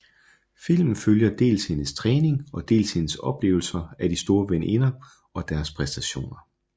Filmen følger dels hendes træning og dels hendes oplevelser af de store veninder og deres præstationer